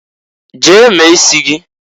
Jee mee isi gị!